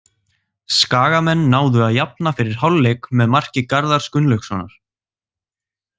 Skagamenn náðu að jafna fyrir hálfleik með marki Garðars Gunnlaugssonar.